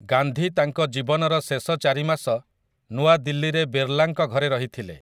ଗାନ୍ଧୀ ତାଙ୍କ ଜୀବନର ଶେଷ ଚାରିମାସ ନୂଆଦିଲ୍ଲୀରେ ବିର୍ଲାଙ୍କ ଘରେ ରହିଥିଲେ ।